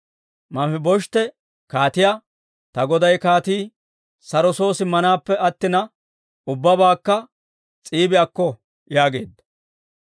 Manfibosheete kaatiyaa, «Ta goday kaatii saro soo simmaappe attina, ubbabaakka S'iibi akko» yaageedda.